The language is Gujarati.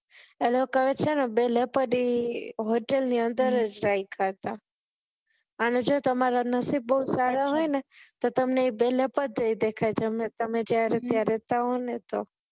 આ લોકોએ છે ને બે leopard hotel ની અંદર જ રાખ્યા હતા અને જો તમારા નસીબ બહુ સારા હોય ને તો તમને એ બે leopard દઈ દે તમે ત્યાં રેહતા હોય ને તો